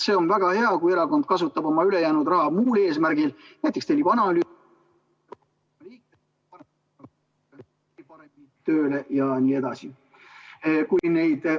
See on väga hea, kui erakond kasutab oma ülejäänud raha muul eesmärgil, näiteks tellib analüüse ...... paremini tööle jne.